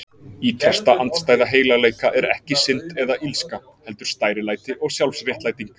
Ýtrasta andstæða heilagleika er ekki synd eða illska, heldur stærilæti og sjálfsréttlæting.